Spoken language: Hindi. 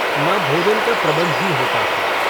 न भोजन का प्रबन्ध ही होता था।